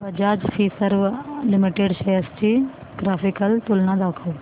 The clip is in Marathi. बजाज फिंसर्व लिमिटेड शेअर्स ची ग्राफिकल तुलना दाखव